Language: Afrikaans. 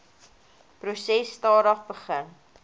proses stadig begin